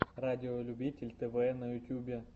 радиолюбитель тв на ютубе